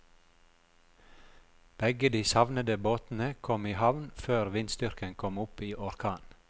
Begge de savnede båtene kom i havn før vindstyrken kom opp i orkan.